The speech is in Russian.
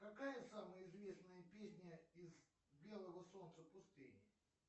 какая самая известная песня из белого солнца пустыни